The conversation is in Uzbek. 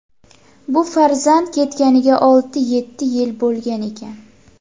Bu farzand ketganiga olti-yetti yil bo‘lgan ekan.